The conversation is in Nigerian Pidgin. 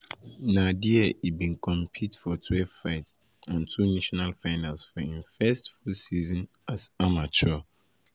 na dia e bin compete for twelve fights and two national finals for im first full season season as amateur.